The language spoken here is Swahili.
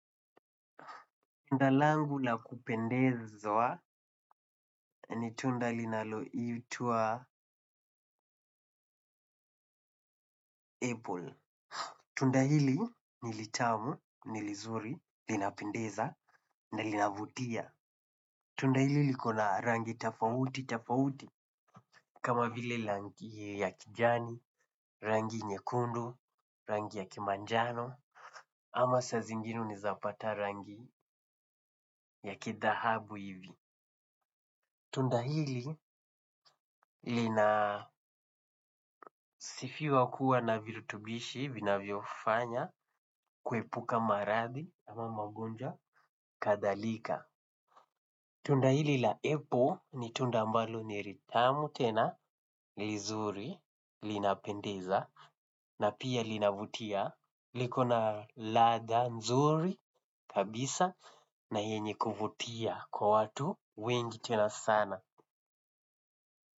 Tunda langu na kupendezwa ni tunda linaloitwa apple. Tunda hili nilitamu, nilizuri, linapendeza, na linavutia. Tunda hili likona rangi tofauti, tofauti, kama vile rangi ya kijani, rangi nyekundu, rangi ya kimanjano, ama sa zingine unaweza pata rangi ya kidhahabu hivi. Tunda hili linasifiwa kuwa na virutubishi vinavyofanya kuepuka maradhi ama magonjwa kadhalika. Tunda hili la apple ni tunda ambalo ni litamu tena lizuri, linapendeza na pia linavutia, likona ladha nzuri kabisa na yenye kuvutia kwa watu wengi tena sana.